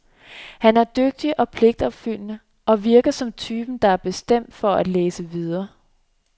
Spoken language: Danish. Han er dygtig og pligtopfyldende, og virker som typen, der er bestemt for at læse videre.